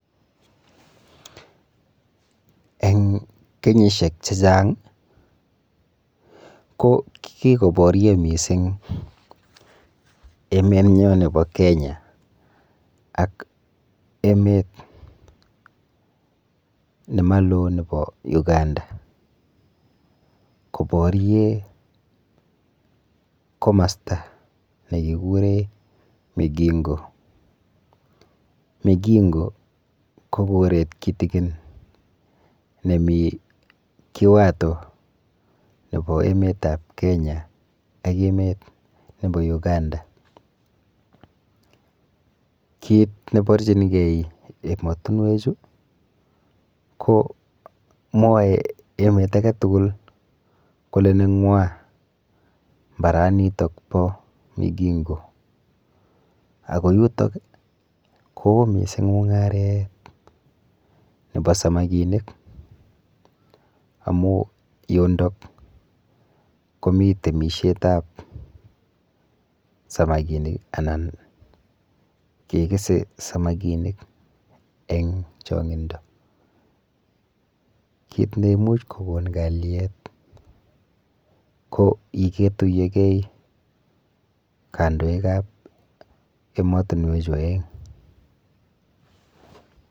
Eng kenyishek che chang ko kikoborio mising emet nyo nepo Kenya ak emet nemaloo nebo Uganda koporei komosta nekikure Migingo, Migingo ko koret kitikin nemii kiwato nebo emet ap Kenya ak emet nebo Uganda kiit neborchinigei emotinwek chu ko mwoe emet ake tugul kole neng'wa mbaranitok po Migingo ako yuto koyoo miising mungaret nebo samakinik amu yundok komii temishet ap samakinik anan kekese samakinik eng chong'indo kiit neimuch kokon kaliet ko iketuyogei kandoik ap emotunwechu oeng.